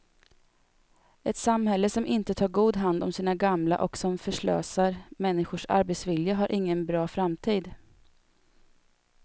Ett samhälle som inte tar god hand om sina gamla och som förslösar människors arbetsvilja har ingen bra framtid.